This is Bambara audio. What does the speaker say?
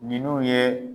Ninnu ye